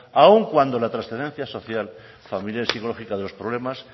aun cuando la trascendencia social familiar y psicológica de los problemas